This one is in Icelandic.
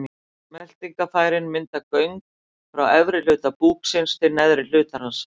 Meltingarfærin mynda göng frá efri hluta búksins til neðri hlutar hans.